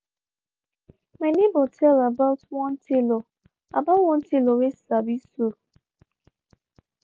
my neighbor tell about one tailor about one tailor whey sabi sew.